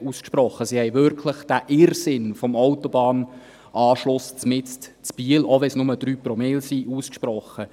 sie haben sich wirklich gegen diesen Irrsinn des Autobahnanschlusses mitten in Biel – auch wenn es nur 3 Promille sind – ausgesprochen.